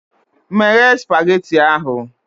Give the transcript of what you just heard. Meghe spageti ahụ!